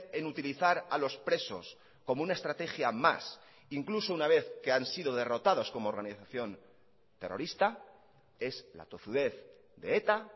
en utilizar a los presos como una estrategia más incluso una vez que han sido derrotados como organización terrorista es la tozudez de eta